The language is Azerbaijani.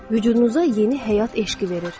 Vücudunuza yeni həyat eşqi verir.